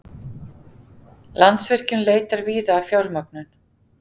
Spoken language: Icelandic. Landsvirkjun leitar víða að fjármögnun